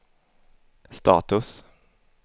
status